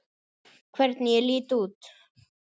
Hvernig ég lít út!